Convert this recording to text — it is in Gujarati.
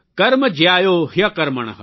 કર્મ જયાયો હયકર્મણ